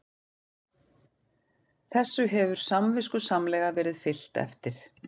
Þessu hefur samviskusamlega verið fylgt eftir